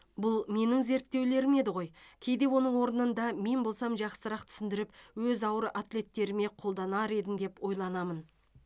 бұл менің зерттеулерім еді ғой кейде оның орнында мен болсам жақсырақ түсіндіріп өз ауыр атлеттеріме қолданар едім деп ойланамын